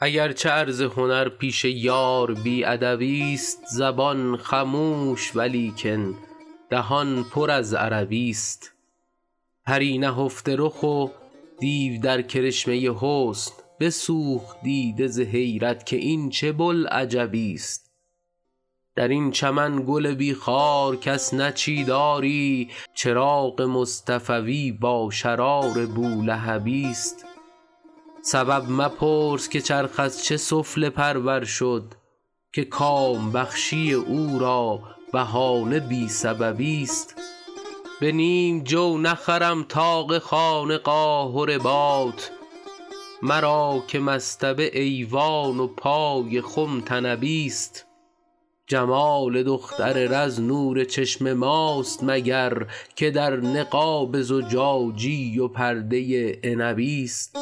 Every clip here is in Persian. اگر چه عرض هنر پیش یار بی ادبی ست زبان خموش ولیکن دهان پر از عربی ست پری نهفته رخ و دیو در کرشمه حسن بسوخت دیده ز حیرت که این چه بوالعجبی ست در این چمن گل بی خار کس نچید آری چراغ مصطفوی با شرار بولهبی ست سبب مپرس که چرخ از چه سفله پرور شد که کام بخشی او را بهانه بی سببی ست به نیم جو نخرم طاق خانقاه و رباط مرا که مصطبه ایوان و پای خم طنبی ست جمال دختر رز نور چشم ماست مگر که در نقاب زجاجی و پرده عنبی ست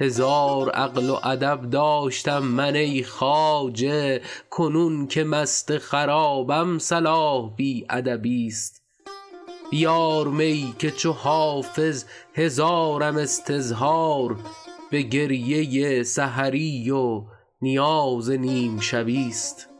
هزار عقل و ادب داشتم من ای خواجه کنون که مست خرابم صلاح بی ادبی ست بیار می که چو حافظ هزارم استظهار به گریه سحری و نیاز نیم شبی ست